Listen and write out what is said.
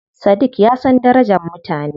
Sadiq ya san darajar mutane.